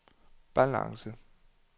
balance